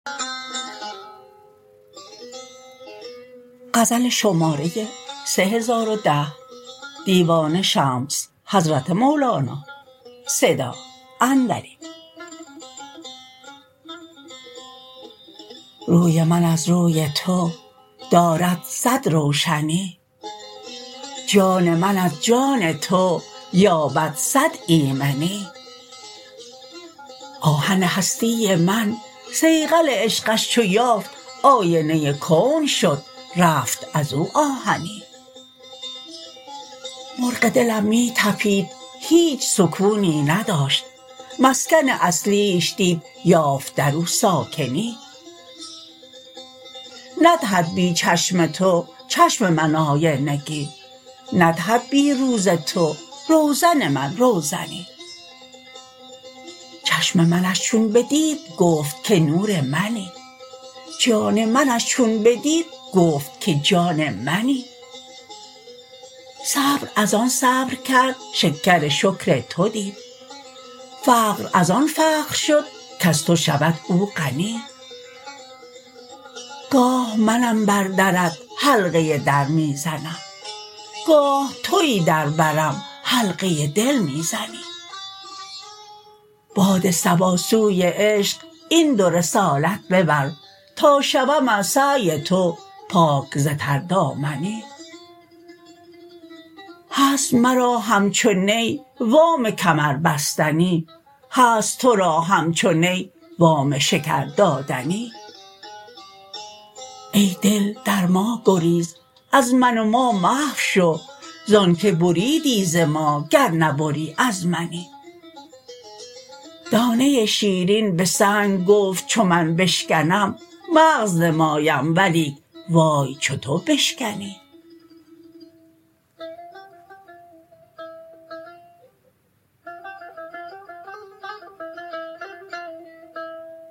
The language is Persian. روی من از روی تو دارد صد روشنی جان من از جان تو یابد صد ایمنی آهن هستی من صیقل عشقش چو یافت آینه کون شد رفت از او آهنی مرغ دلم می طپید هیچ سکونی نداشت مسکن اصلیش دید یافت در او ساکنی ندهد بی چشم تو چشم من آینگی ندهد بی روز تو روزن من روزنی چشم منش چون بدید گفت که نور منی جان منش چون بدید گفت که جان منی صبر از آن صبر کرد شکر شکر تو دید فقر از آن فخر شد کز تو شود او غنی گاه منم بر درت حلقه در می زنم گاه توی در برم حلقه دل می زنی باد صبا سوی عشق این دو رسالت ببر تا شوم از سعی تو پاک ز تردامنی هست مرا همچو نی وام کمر بستنی هست تو را همچو نی وام شکر دادنی ای دل در ما گریز از من و ما محو شو زانک بریدی ز ما گر نبری از منی دانه شیرین به سنگ گفت چو من بشکنم مغز نمایم ولیک وای چو تو بشکنی